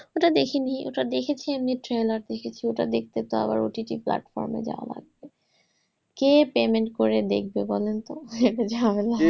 ওটা দেখিনি ওটা দেখেছি এমনি trailer দেখেছি ওটা দেখতে পাওয়া OTT platform এ যাওয়া লাগবে। কে payment করে দেখবে বলেন তো? এত ঝামেলা।